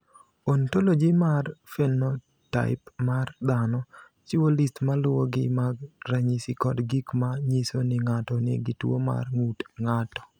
"Ontology mar phenotaip mar dhano chiwo list ma luwogi mag ranyisi kod gik ma nyiso ni ng’ato nigi tuwo mar ng’ut ng’ato."